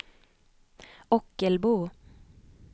Ockelbo